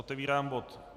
Otevírám bod